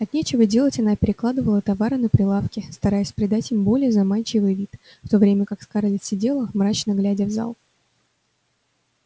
от нечего делать она перекладывала товары на прилавке стараясь придать им более заманчивый вид в то время как скарлетт сидела мрачно глядя в зал